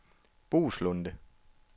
Boeslunde